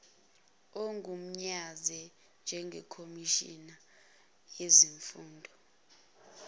ogunyazwe njengekhomishina yezifungo